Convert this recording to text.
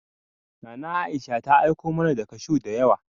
Nana Aisha ta aiku mana da kashuw da yawa.